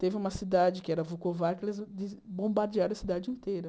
Teve uma cidade que era Vukovar, que eles eles bombardearam a cidade inteira.